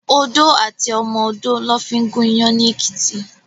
Odó àti ọmọ odó lò fin gún iyàn ni Ekiti